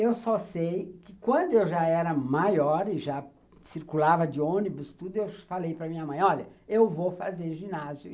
Eu só sei que quando eu já era maior e já circulava de ônibus tudo, eu falei para minha mãe, olha, eu vou fazer ginásio.